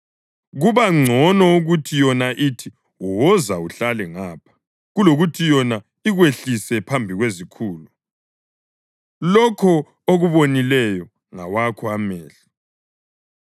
kuba ngcono ukuthi yona ithi, “Woza uhlale ngapha,” kulokuthi yona ikwehlise phambi kwezikhulu. Lokho okubonileyo ngawakho amehlo